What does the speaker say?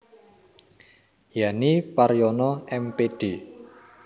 Yani Paryono M Pd